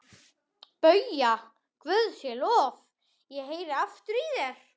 BAUJA: Guði sé lof, ég heyri aftur í þér!